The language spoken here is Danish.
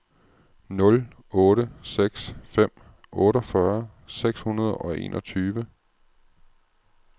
nul otte seks fem otteogfyrre seks hundrede og enogtyve